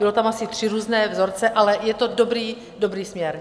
Byly tam asi tři různé vzorce, ale je to dobrý, dobrý směr.